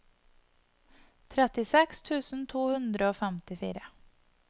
trettiseks tusen to hundre og femtifire